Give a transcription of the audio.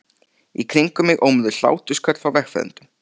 Í kringum mig ómuðu hlátrasköll frá vegfarendum.